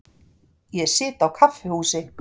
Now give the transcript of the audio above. Ég sit á kaffihúsi.